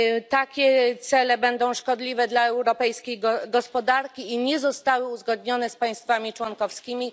Takie cele będą szkodliwe dla europejskiej gospodarki i nie zostały uzgodnione z państwami członkowskimi.